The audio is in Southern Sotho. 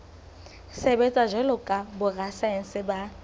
sebetsa jwalo ka borasaense ba